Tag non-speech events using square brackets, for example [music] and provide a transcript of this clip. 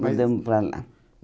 [unintelligible] Mudamos para lá.